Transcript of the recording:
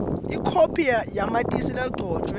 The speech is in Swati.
ikhophi yamatisi legcotjwe